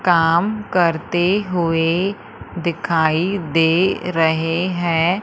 काम करते हुए दिखाई दे रहे हैं।